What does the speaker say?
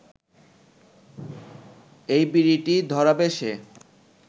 এই বিড়িটি ধরাবে সে